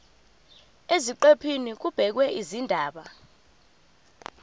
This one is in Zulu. eziqephini kubhekwe izindaba